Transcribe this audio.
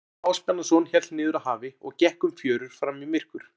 Jón Ásbjarnarson hélt niður að hafi og gekk um fjörur fram í myrkur.